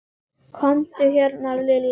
Komdu hérna Lilla mín.